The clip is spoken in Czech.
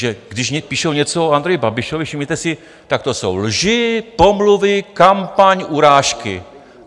Že když píšou něco o Andreji Babišovi, všimněte si, tak to jsou lži, pomluvy, kampaň, urážky.